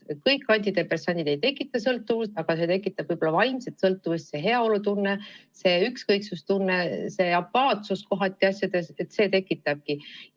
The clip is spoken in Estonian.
Kõik antidepressandid ei tekita sõltuvust, aga need tekitavad võib-olla vaimset sõltuvust – see heaolutunne, see ükskõiksuse tunne, see kohatine apaatsus.